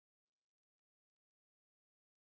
Heimir Már: Hvers vegna gæti það ekki gengið núna?